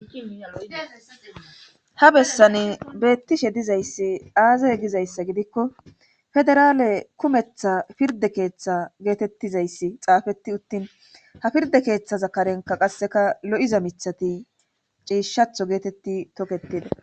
ha bessani beettishe dizayssi aazay gizayssa gidikko federaale kumetha pirde keeththa geetettizayssi xaafeti uttin ha pirde keeththa zakarenka qasseka lo7iza mithati ciishatho geetetti toketida